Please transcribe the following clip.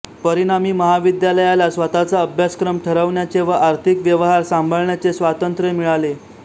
परिणामी महाविद्यालयाला स्वतःचा अभ्यासक्रम ठरवण्याचे व आर्थिक व्यवहार सांभाळण्याचे स्वातंत्र्य मिळाले